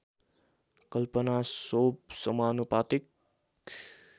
कल्पना सोव समानुपातिक